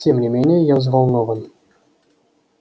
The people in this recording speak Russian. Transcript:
тем не менее я взволнован